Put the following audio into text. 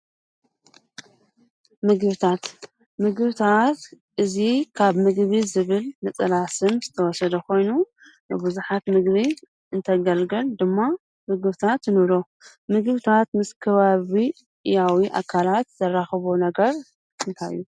ምግብታት ምግብታት እዚ ካብ ምግቢ ዝብል ነፀላ ስም ዝተወሰደ ኾይኑ ንብዙሓት ምግቢ እንተገልግል ድማ ምግብታት ንብሎም፡፡ ምግብታት ምስ ከባብያዊ ኣካላት ዘራኽቦ ነገር እንታይ እዩ?